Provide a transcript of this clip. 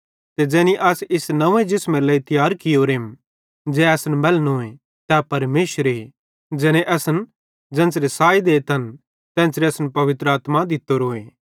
ते ज़ैनी अस इस नव्वें जिसमेरे लेइ तियार कियोरेम ज़ै असन मैलनोए तै परमेशरे ज़ैने असन ज़ेन्च़रे साई देतन तेन्च़रे पवित्र आत्मा भी दित्तोरोए